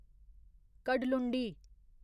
Kadalundi